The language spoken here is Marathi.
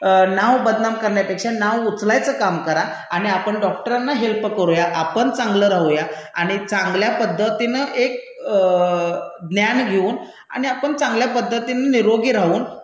नाव बदनाम करण्यापेक्षा नाव उचलायचं काम करा आणि आपण डॉक्टरांना हेल्प करूया, आपण चांगलं राहूया आणि चांगल्या पद्धतीनं एक ज्ञान घेऊन आणि आपण चांगल्या पद्धतीनं निरोगी राहून